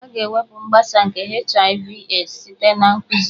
A ga-ewepụ mgbasa nke HIV/AIDS site na nkụzi